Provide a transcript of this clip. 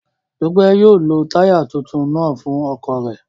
Dupe yóò lo taya tuntun naa fun ọkọ rẹ